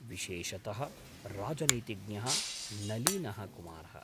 विशेषतः राजनीतिज्ञः नलीनः कुमारः।